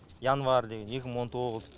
январь деген екі мың он тоғыз